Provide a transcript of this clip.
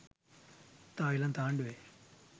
තායිලන්ත ආණ්ඩුවේ